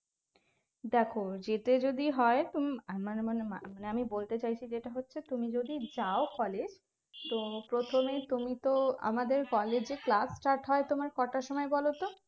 দেখো যেতে যদি হয় তুম মানে আমি বলতে চাইছি যেটা হচ্ছে তুমি যদি যাও college তো প্রথমে তুমিতো আমাদের college এ class start হয় তোমার কটার সময় বলোতো